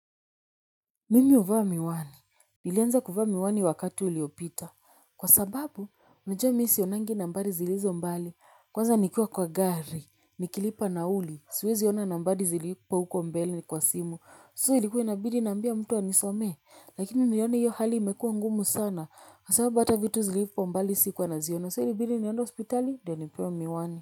Mimi uvaa miwani, nilianza kuvaa miwani wakati uliopita. Kwa sababu, unajua mi sionangi nambari zilizo mbali. Kwanza nikiwa kwa gari, nikilipa nauli, siwezi ona nambari zilipo huko mbele kwa simu. So ilikua inabidi niambie mtu anisomee, lakini niliona hiyo hali imekuwa ngumu sana. Kwa sababu hata vitu zilipo mbali sikuwa naziona, so ilibidi niende hospitali, ndio nipewe miwani.